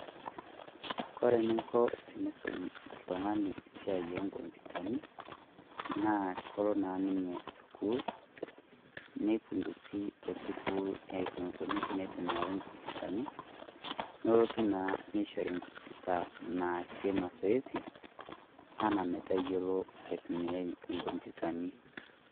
Kore ening'o teniisum oltung'ani esiai oong'ombutani naa kelo naa ninye sukuul nifundishai te sukuul eneikuni teneitumiai Enkomputani nelotu naa neishori enkomputa naasie mazoezi enaa metayiolo aitumiya enkomputani.